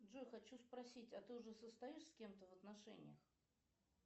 джой хочу спросить а ты уже состоишь с кем то в отношениях